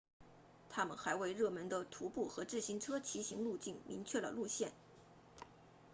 它们还为热门的徒步和自行车骑行路径明确了路线